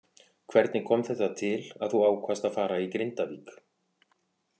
Hvernig kom þetta til að þú ákvaðst að fara í Grindavík.